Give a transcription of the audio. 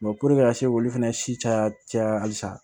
ka se k'olu fana si caya caya halisa